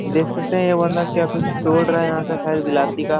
देख सकते है ये वाला क्या कुछ तोड़ रहा है यहाँ का शायद का --